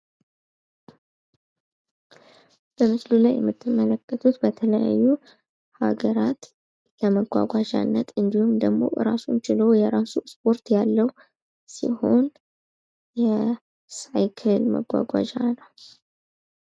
በምስሉ ላይ የምትመለከቱት የተለያዩ ሀገራት ለመጓጓዣነት እንድሁም ደግሞ እራሱን ችሎ የራሱ ስፖርት ያለው ሲሆን የሳይክል መጓጓዣ ነው።